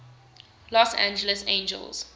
los angeles angels